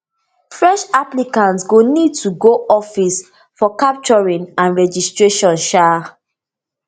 fresh applicants go need to go office for capturing and registration um